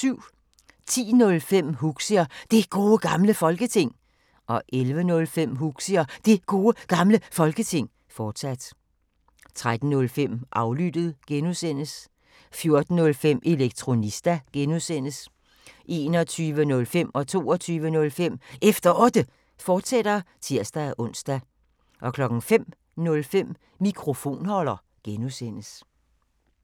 10:05: Huxi og Det Gode Gamle Folketing 11:05: Huxi og Det Gode Gamle Folketing, fortsat 13:05: Aflyttet (G) 14:05: Elektronista (G) 21:05: Efter Otte, fortsat (tir-ons) 22:05: Efter Otte, fortsat (tir-ons) 05:05: Mikrofonholder (G)